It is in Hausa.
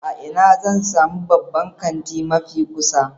A ina zan sami babban kanti mafi kusa?